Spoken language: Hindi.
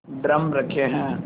ड्रम रखे हैं